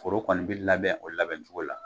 Foro kɔni bi labɛn o labɛn cogo la